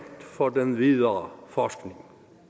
for den videre forskning